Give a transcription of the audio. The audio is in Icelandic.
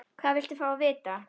Hvað viltu fá að vita?